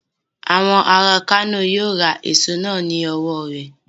Àwọn ará Kano yíó ra èso náà lọ́wọ̀ rẹ..